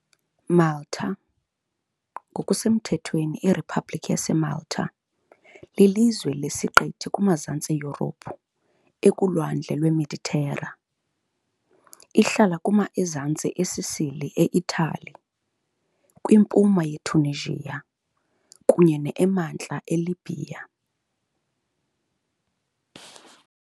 Malta ngokusemthethweni iRiphabhlikhi yaseMalta, lilizwe lesiqithi kuMazantsi Yurophu, ekuLwandle lweMeditera. Ihlala kuma emazantsi eSicily, eItali, kwimpuma yeTunisia, kunye ne emantla eLibya .